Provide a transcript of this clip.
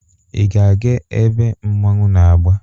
Ị ga-aga ebe mmọnwụ na-agba?